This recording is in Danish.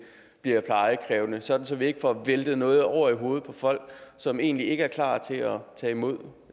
bliver plejekrævende sådan at vi ikke får væltet noget over i hovedet på folk som egentlig ikke er klar til at tage imod